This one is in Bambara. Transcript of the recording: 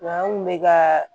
Wa an kun bɛ ka